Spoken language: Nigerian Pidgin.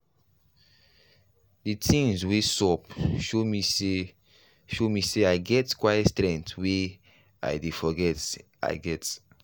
the things wey sup show me say show me say i get quiet strength wey i dey forget i get.